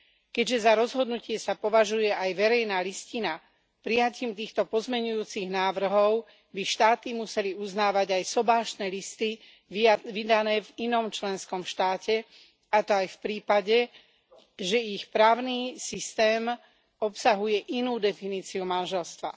Keďže za rozhodnutie sa považuje aj verejná listina, prijatím týchto pozmeňujúcich návrhov by štáty museli uznávať aj sobášne listy vydané v inom členskom štáte, a to aj v prípade, že ich vlastný právny systém obsahuje inú definíciu manželstva.